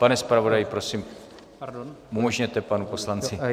Pane zpravodaji, prosím, umožněte panu poslanci.